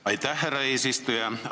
Aitäh, härra eesistuja!